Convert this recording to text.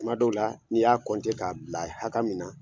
Tuma dɔw la, n'i y'a kɔntɛ k'a bila hakɛ min na